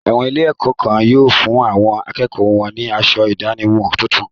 Àwọn ilé-ẹ̀kọ́ kan yóò fún àwọn akẹ́kọ̀ọ́ wọn ní asọ ìdánimọ̀ tuntun.